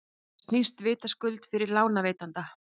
þetta snýst vitaskuld við fyrir lánveitanda